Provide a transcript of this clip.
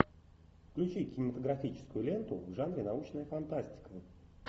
включи кинематографическую ленту в жанре научная фантастика